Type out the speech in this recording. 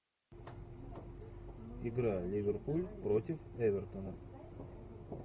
игра ливерпуль против эвертона